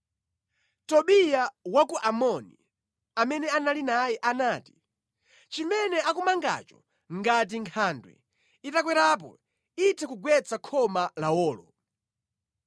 Tobiya wa ku Amoni, amene anali naye anati, “Chimene akumangacho ngati nkhandwe itakwerapo, itha kugwetsa khoma lawolo!”